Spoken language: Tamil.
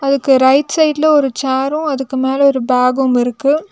அதுக்கு ரைட் சைடுல ஒரு சேரு அதுக்கு மேல ஒரு பேகும் இருக்கு.